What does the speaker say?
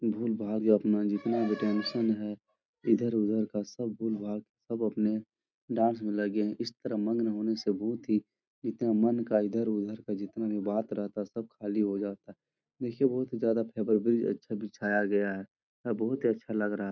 भूल भाग या अपना जितना भी टेंशन है इधर उधर का सब भूल भाग सब अपने डांस में लगे हैं। इस तरह मन लगाने से बहुत ही मन का इधर उधर का जितना भी बात रहता है सब खाली हो जाता है जिससे बहुत ही ज्यादा फायदा गया है। यह बहुत ही अच्छा लग रहा है।